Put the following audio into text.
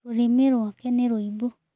Tũrĩmĩ rwake nĩ rũibu.